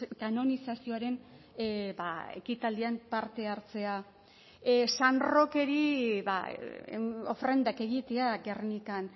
kanonizazioaren ekitaldian parte hartzea san rokeri ofrendak egitea gernikan